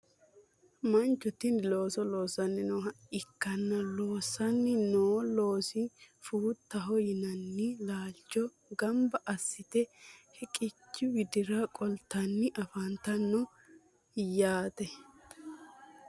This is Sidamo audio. mancho tini looso loossanni nooha ikkanna, loossanni noo loosino fuuttaho yinanni laalcho gamba assite heqichu widira qoltanni afantanno yaate .